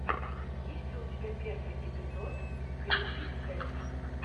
есть ли у тебя первый эпизод крипи кэт